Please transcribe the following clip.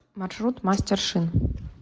маршрут мастер шин